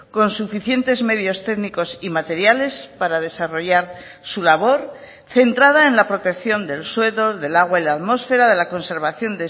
con suficientes medios técnicos y materiales para desarrollar su labor centrada en la protección del suelo del agua y la atmosfera de la conservación